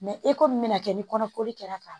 e ko min bɛna kɛ ni kɔnɔkoli kɛra ka ban